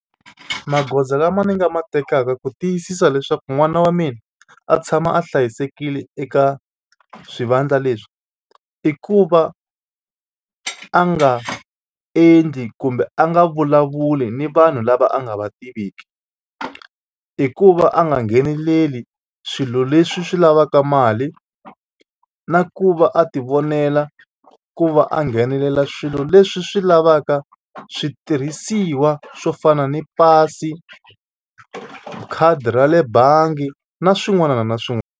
Magoza lama ni nga ma tekaka ku tiyisisa leswaku n'wana wa mina a tshama a hlayisekile eka swivandla leswi i ku va a nga endli kumbe a nga vulavuli ni vanhu lava a nga va tiveki i ku va a nga ngheneleli swilo leswi swi lavaka mali na ku va a tivonela ku va a nghenelela swilo leswi swi lavaka switirhisiwa swo fana ni pasi, khadi ra le bangi na swin'wana na .